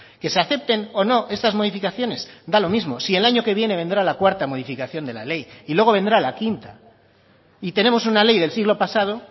que se acepten o no estas modificaciones da lo mismo si el año que viene vendrá la cuarta modificación de la ley y luego vendrá la quinta y tenemos una ley del siglo pasado